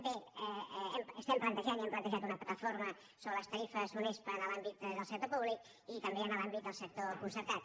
bé estem plantejant i hem plantejat una plataforma sobre les tarifes unespa en l’àmbit del sector públic i també en l’àmbit del sector concertat